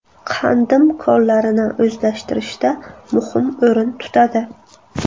Qandim konlarini o‘zlashtirishda muhim o‘rin tutadi.